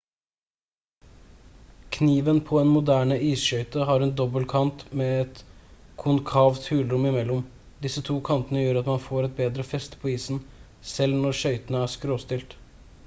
kniven på en moderne isskøyte har en dobbel kant med et konkavt hulrom i mellom disse to kantene gjør at man får et bedre feste på isen selv når skøytene er skråstilt